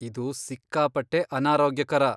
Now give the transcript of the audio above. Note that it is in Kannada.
ಇದು ಸಿಕ್ಕಾಪಟ್ಟೆ ಅನಾರೋಗ್ಯಕರ.